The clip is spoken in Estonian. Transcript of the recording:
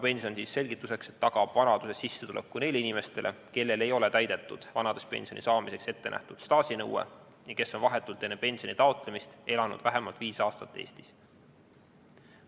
Selgituseks ütlen, et rahvapension tagab vanaduses sissetuleku neile inimestele, kellel ei ole täidetud vanaduspensioni saamiseks ettenähtud staažinõue ja kes on vahetult enne pensioni taotlemist elanud vähemalt viis aastat Eestis.